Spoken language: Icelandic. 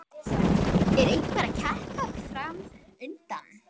Er einhver keppni fram undan?